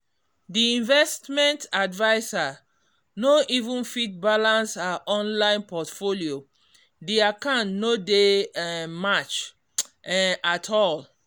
the investment adviser no even fit balance her online portfolio the account no dey um match um at all.